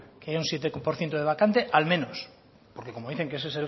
que hay un siete por ciento de vacante al menos porque como dicen que ese